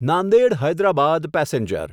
Nanded Hyderabad passenger